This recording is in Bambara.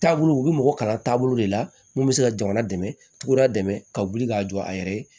Taabolo u bɛ mɔgɔ kalan taabolo de la mun bɛ se ka jamana dɛmɛ cogo jumɛn ka wuli k'a jɔ a yɛrɛ ye